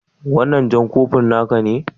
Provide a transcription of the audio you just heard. Wannan jan kofi na ne?